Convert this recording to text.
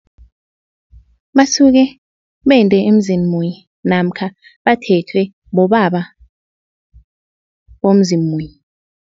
Basuke bende emzini munye namkha bathethwe bobaba bomuzi munye.